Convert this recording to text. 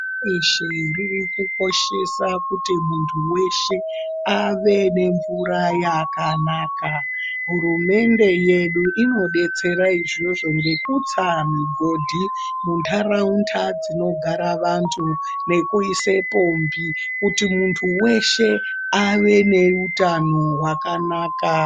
Pashi reshe riri kukoshesa kuti muntu weshe, ave nemvura yakanaka. Hurumende yedu inodetsera izvozvi ngekutsa migodhi muntaraunda dzinogara vantu, nekuise pombi ,kuti muntu weshe ,ave neutano hwakanaka.